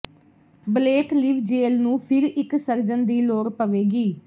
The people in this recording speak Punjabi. ਬਲੇਕ ਲਿਵਜੇਲ ਨੂੰ ਫਿਰ ਇਕ ਸਰਜਨ ਦੀ ਲੋੜ ਪਵੇਗੀ